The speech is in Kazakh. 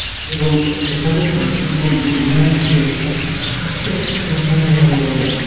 ол дұрыс айтасың бұл мінезге де і қатысты бірақ мынадай жағдай бар да